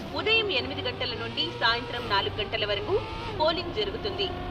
ఉదయం ఎనిమిది గంటల నుండి సాయంత్రం నాలుగు గంటల వరకు పోలింగ్ జరుగుతుంది.